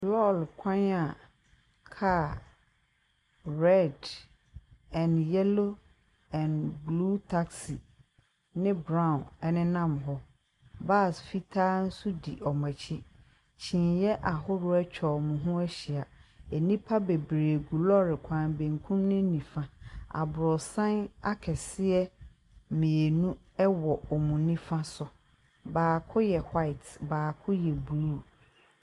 Kaa kwan a kaa red and yellow and blue taxi nenam hɔ, bus fitaa nso di wɔn akyi, kyineɛ bebree nso atwa wɔn ho ahyia, nnipa bebree gu lɔɔre kwan no bankum ne nifa. Abrɔsan akɛseɛ mmienu wɔ wɔn nifa so, baako yɛ white, baako yɛ blue.